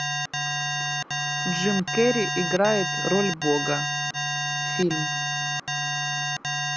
джим керри играет роль бога фильм